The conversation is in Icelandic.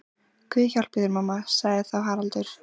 Guð hjálpi þér mamma, sagði þá Haraldur.